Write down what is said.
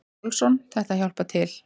Örn Pálsson: Þetta hjálpar til.